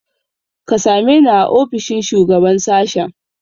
Ka same ni a ofishin shugaban sashen.